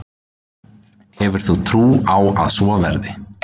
Hefur þú trú á að svo verði?